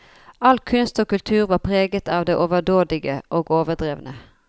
All kunst og kultur var preget av det overdådige og overdrevne.